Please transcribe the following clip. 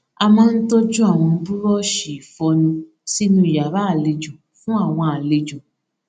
a máa n tọjú àwọn búrọọṣì ìfọnu sínú yàrá àlejò fún àwọn àlejò